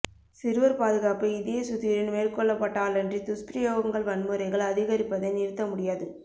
சிறுவர் பாதுகாப்பு இதய சுத்தியுடன் மேற்கொள்ளப்பட்டாலன்றி துஸ்பிரயோகங்கள் வன்முறைகள் அதிகரிப்பதை நிறுத்த முடியாது